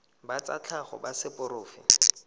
ba tsa tlhago ba seporofe